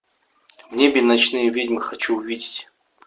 в небе ночные ведьмы хочу увидеть